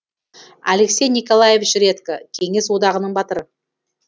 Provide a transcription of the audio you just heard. алексей николаевич редько кеңес одағының батыры